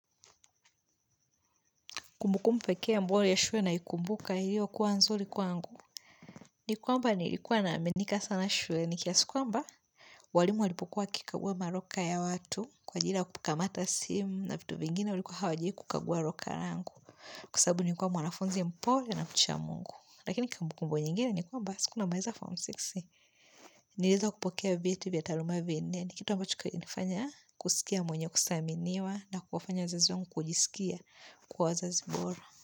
Kumbukumbu pekee ambayo ya shule naikumbuka iliyo kuwa nzuri kwangu. Ni kwamba nilikuwa na aminika sana shuleni kiasi kwamba walimu walipokuwa wakikagua maroka ya watu. Kwa jili ya kupuka mata simu na vitu vingine walikuwa hawaji kukagua roka rangu. Kwasababu nilikuwa mwanafunzi mpole na mcha mungu. Lakini kumbukumbu nyingine ni kwamba siku namaliza form six. Niliweza kupokea vyeti vya taaluma vinne. Ni kitu ambacho kilinifanya kusikia mwenyewe kusaminiwa na kuwafanya wazazi wangu kujisikia kuwa wazazi bora.